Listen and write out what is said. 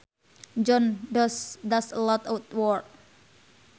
John does a lot at work